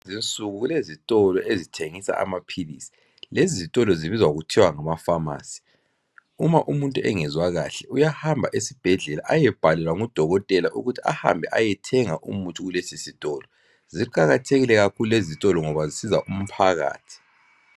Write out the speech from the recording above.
Kulezinsuku kulezitolo ezithengisa amaphilisi. Lezizitolo zibizwa kuthiwa ngama phamarcy. Uma umuntu engezwa kahle uyahamba esibhedlela ayebhalelwa ngudokotela ukuthi ahambe ayethenga umuthi kulezizitolo. Ziqakathekile kakhulu lezizitolo ngoba zisiza umphakathi